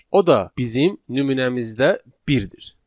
O da bizim nümunəmizdə birdir.